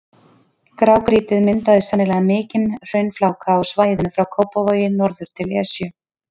Grágrýtið myndaði sennilega mikinn hraunfláka á svæðinu frá Kópavogi norður til Esju.